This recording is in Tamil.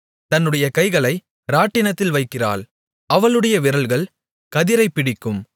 தன்னுடைய கைகளை இராட்டினத்தில் வைக்கிறாள் அவளுடைய விரல்கள் கதிரைப் பிடிக்கும்